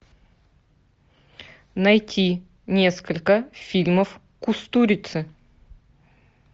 найти несколько фильмов кустурицы